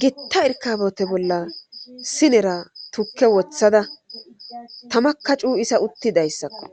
gitta erkaabote bolla sinera tukke wothada tamaka cuu isa uttidayssakko